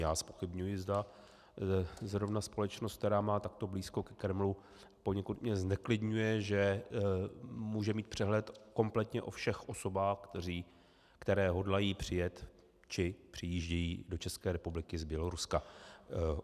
Já zpochybňuji, zda zrovna společnost, která má takto blízko ke Kremlu - poněkud mě zneklidňuje, že může mít přehled kompletně o všech osobách, které hodlají přijet či přijíždějí do České republiky z Běloruska.